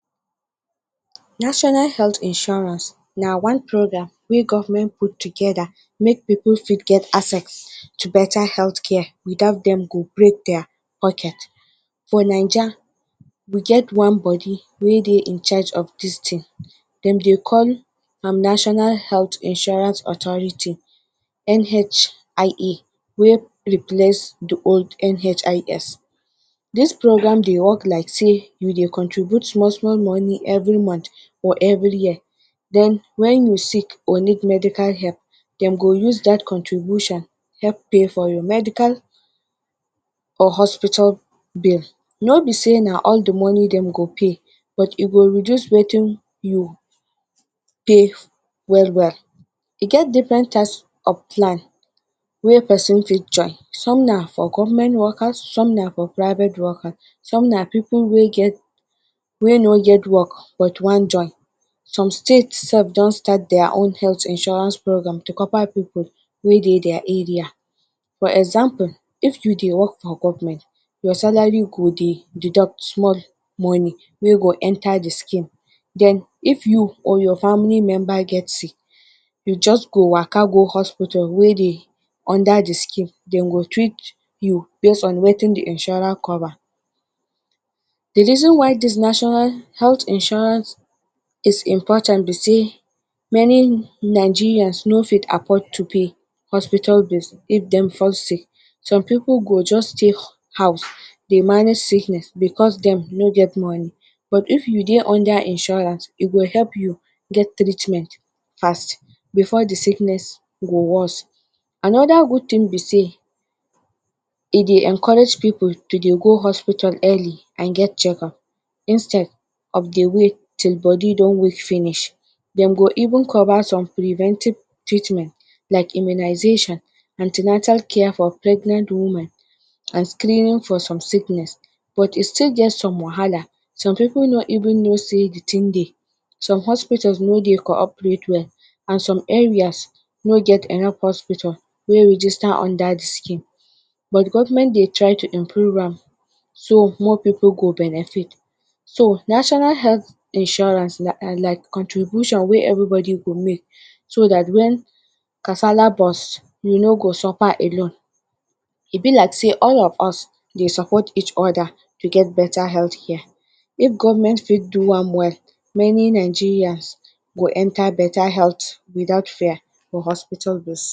National health insurance na one programme wey government put together make people fit get access to better health care without them go break their pocket. For Naija we get one body wey they incharge of this thing, them they call am national health insurance authority (NHIA) wey replace the old NHIS. This programme they work like say we they contribute small-small money month or every year, when you sick or need medical help them go use that contribution help pay for your medical or hospital bill. No be say na all the money them go pay but e go reduce wetin you will pay well-well. E get different types of plan wey person fit join some na for government workers, some na for private workers, some na for person wey no get work but want join. Some state self don start their own health insurance to cover people way they their area. For example if you they work for government your salary go they deduct small money way go enter the scheme then, if you or your family member get sick you just go waka go hospital wey they under the scheme they go treat you base on wetin the insurance cover. The reason why this national health insurance is important be say many Nigeria no fit afford to pay hospital bill if them fall sick. Some people go just stay house they manage sickness because them no get money but if you under insurance e go help you get treatment fast before the sickness go worse. Another good thing be say, e they encourage people go hospital early and get check up instead they wait till body don get weak finish them go even cover some preventive treatment like immunization, anti-natal care for pregnant women and screening for some sickness but e still get some wahala, some people no even know say the thing they, some hospital no they cooperate well and some areas no get enough hospital wey register under the scheme but government they try to improve am so more people go benefit. So, national health insurance scheme na like contribution way everybody make so that when casala burst you no go suffer alone, e be like say all of us they support each other for better health care. If government fit do am, many Nigeria go enter better health without fear for hospital bill.